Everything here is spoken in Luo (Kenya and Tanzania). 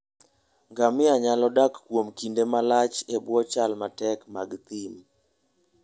Ngamia nyalo dak kuom kinde malach e bwo chal matek mag thim.